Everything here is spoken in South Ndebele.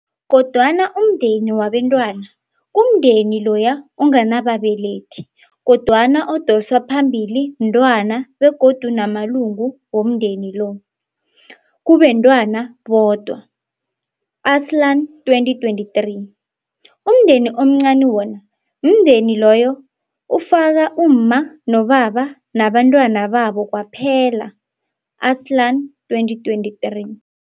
Kodwana, umndeni wabentwana, kumndeni loya onganababelethi kodwana odosa phambili mntwana begodu namalungu womndeni lo, kubentwana bodwa, Arslan 2023. Umndeni omncani wona, mndeni loyo ofaka umma nobaba nabentwana babo kwaphela, Arslan 2023.